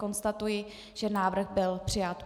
Konstatuji, že návrh byl přijat.